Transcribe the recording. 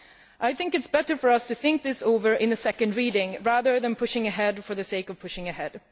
It is better for us to think this over in another reading, rather than pushing ahead for the sake of pushing ahead.